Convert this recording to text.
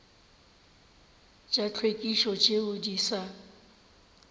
tša tlhwekišo tšeo di sa